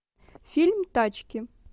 фильм тачки